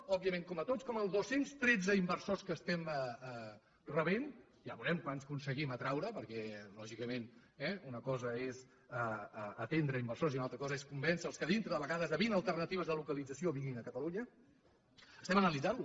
òbviament com tots com els dos cents i tretze inversors que rebem ja veurem quants n’aconseguim atraure perquè lògicament una cosa és atendre inversors i una altra cosa és convèncer los que de vint alternatives de localització vinguin a catalunya els analitzem